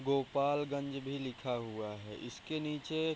गोपालगंज भी लिखा हुआ है इसके नीचे --